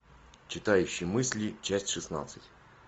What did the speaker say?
читающий мысли часть шестнадцать